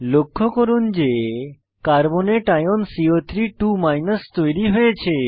লক্ষ্য করুন যে কার্বনেট আয়ন সিও32 তৈরী হয়েছে